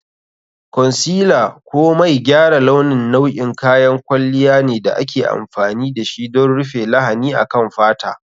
Concealer ko mai gyara launi nau'in kayan kwalliya ne da ake amfani da shi don rufe lahani akan fata.